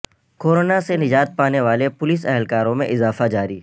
corona سے نجات پانے والے پولیس اہلکاروں میں اضافہ جاری